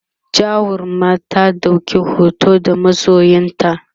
jarumar ta ɗauki hoto da masoyanta?